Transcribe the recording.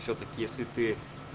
всё-таки если ты